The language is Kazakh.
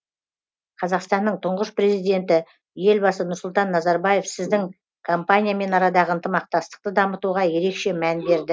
қазақстанның тұңғыш президенті елбасы нұрсұлтан назарбаев сіздің компаниямен арадағы ынтымақтастықты дамытуға ерекше мән берді